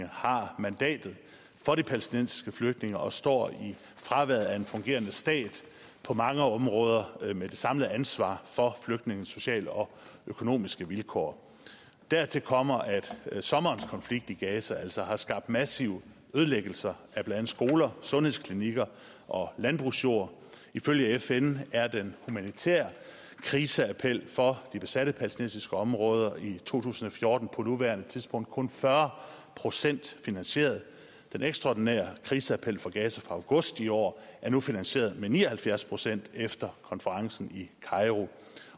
har mandatet for de palæstinensiske flygtninge og står i fraværet af en fungerende stat på mange områder med det samlede ansvar for flygtningenes sociale og økonomiske vilkår dertil kommer at sommerens konflikt i gaza altså har skabt massive ødelæggelser af blandt andet skoler sundhedsklinikker og landbrugsjord ifølge fn er den humanitære kriseappel for de besatte palæstinensiske områder i to tusind og fjorten på nuværende tidspunkt kun fyrre procent finansieret den ekstraordinære kriseappel for gaza fra august i år er nu finansieret med ni og halvfjerds procent efter konferencen i kairo